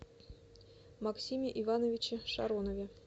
максиме ивановиче шаронове